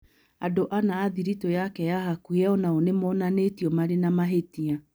Andũ ana a thiritũ yake ya hakuhĩ o nao nĩ moonanĩtio marĩ na mahĩtia.